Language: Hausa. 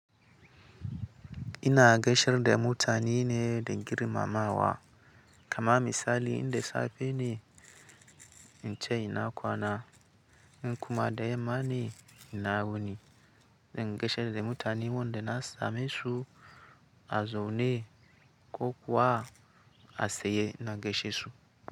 Ina gaishe da mutane ne da girma ma wa. Kama misali, inda safe ne in ce ina kwana, in kuma da yamma ne ina wuni. In gaishar da mutane wanda na samesu a zaune ko kuwa a saye ina gaishe su.